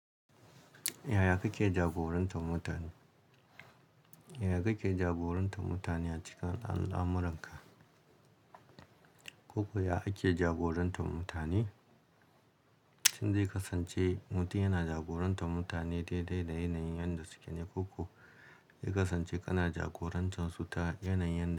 Yaya kake jagorantar mutane? Yaya kike jagorantar mutane a cikin al'amuranka? Koko yaya ake jagorantar mutane? Tun dai kasance mutum yana jagorantar mutane daidai da yanayin yadda suke ne. Koko, dai kasance kana jagorantar su ta yanayin da.